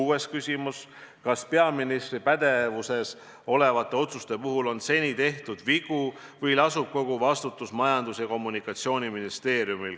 " Kuues küsimus: "Kas peaministri pädevuses olevate otsuste puhul on seni tehtud vigu või lasub kogu vastutus Majandus- ja Kommunikatsiooniministeeriumil?